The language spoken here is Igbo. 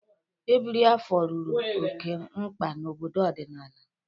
Ebiri afọ rụrụ oke mkpa na obodo ọdịnala.